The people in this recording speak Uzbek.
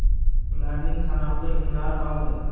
Ularning sanoqli kunlari qoldi!